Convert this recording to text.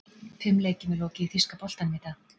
Fimm leikjum er lokið í þýska boltanum í dag.